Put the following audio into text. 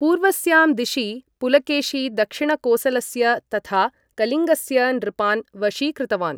पूर्वस्यां दिशि, पुलकेशी दक्षिणकोसलस्य तथा कलिङ्गस्य नृपान् वशीकृतवान्।